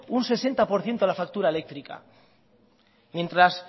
un sesenta por ciento de la factura eléctrica mientras